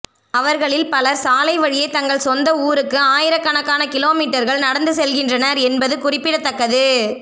அவர்களில் பலர் சாலை வழியே தங்கள் சொந்த ஊருக்கு ஆயிரக்கணக்கான கிலோமீட்டர்கள் நடந்து செல்கின்றனர் என்பது குறிப்பிடத்தக்கது